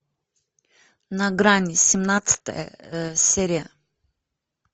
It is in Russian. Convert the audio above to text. на грани семнадцатая серия